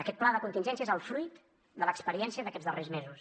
aquest pla de contingència és el fruit de l’experiència d’aquests darrers mesos